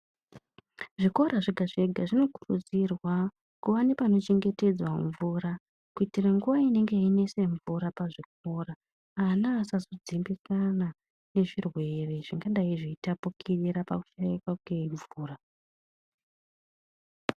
Zvikora zvega zvega zvinokurudzirwa kuva nepanochengetedzwa mvura kuitira nguwa inenge yeinesa mvura pazvikora ana asazodzimbikana ngezvirwere zvingadai zveitapukira pakushaikwa kwemvura.